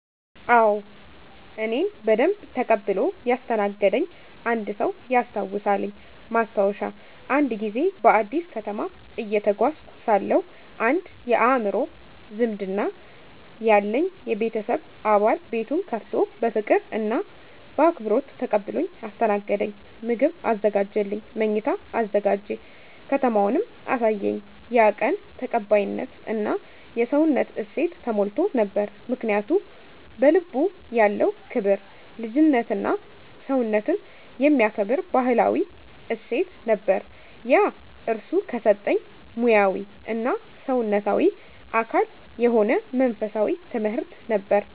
አዎ፣ እኔን በደንብ ተቀብሎ ያስተናገደኝ አንድ ሰው ያስታውሳልኝ። ማስታወሻ፦ አንድ ጊዜ በአዲስ ከተማ እየተጓዝኩ ሳለሁ አንድ የአእምሮ ዝምድና ያለኝ የቤተሰብ አባል ቤቱን ከፍቶ በፍቅር እና በአክብሮት ተቀብሎኝ አስተናገደኝ። ምግብ አዘጋጀልኝ፣ መኝታ አዘጋጀ፣ ከተማውንም አሳየኝ። ያ ቀን ተቀባይነት እና የሰውነት እሴት ተሞልቶ ነበር። ምክንያቱ? በልቡ ያለው ክብር፣ ልጅነትና ሰውነትን የሚከብር ባህላዊ እሴት ነበር። ያ እርሱ ከሰጠኝ ሙያዊ እና ሰውነታዊ አካል የሆነ መንፈሳዊ ትምህርት ነበር።